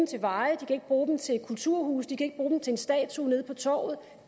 til veje de kan ikke bruge dem til kulturhuse de kan ikke bruge dem til en statue nede på torvet